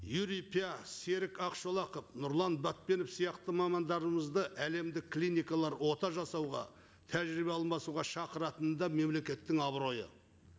юрия пя серік ақшолақов нұрлан батпенов сияқты мамандарымызды әлемдік клиникалар ота жасауға тәжірибе алмасуға шақыратыны да мемлекеттің абыройы